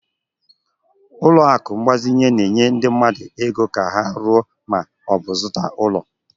Ụlọ akụ mgbazinye na-enye ndị mmadụ ego ka ha ruo ma ọ bụ zụta ụlọ.